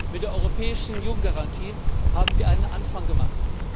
Mit der Europäischen Jugendgarantie haben wir einen Anfang gemacht.